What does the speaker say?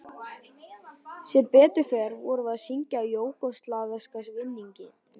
Sem betur fer vorum við að syngja júgóslavneska vinnings